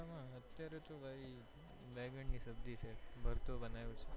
અત્યારે તો ભાઈ બેંગન ની સબ્જી છે ભરતો બનાવ્યો છે